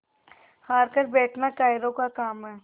हार कर बैठना कायरों का काम है